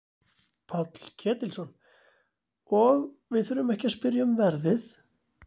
Páll Ketilsson: Og við þurfum ekki að spyrja um verðið?